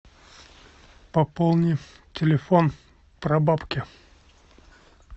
пополни телефон прабабки